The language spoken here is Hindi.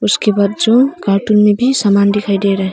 उसके बाजू कार्टून में भी सामान दिखाई दे रहा हैं।